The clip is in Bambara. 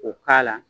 O k'a la